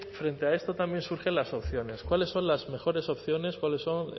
frente a esto también surgen las opciones cuáles son las mejores opciones cuáles son